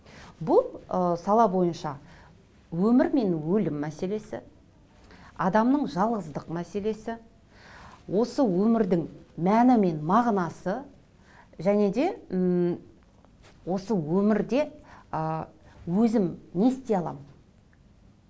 бұл ы сала бойынша өмір мен өлім мәселесі адамның жалғыздық мәселесі осы өмірдің мәні мен мағынасы және де ммм осы өмірде ыыы өзім не істей аламын